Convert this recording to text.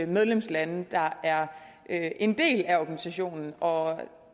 medlemslande der er er en del af organisationen og